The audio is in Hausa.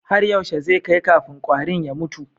Har yaushe zai kai kafin kwarin ya mutu?